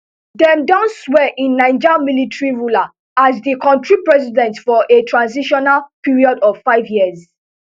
dem don swear in niger military ruler as di kontri president for a transitional period of five years